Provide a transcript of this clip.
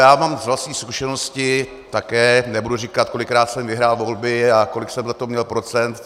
Já vám z vlastní zkušenosti také nebudu říkat, kolikrát jsem vyhrál volby a kolik jsem za to měl procent.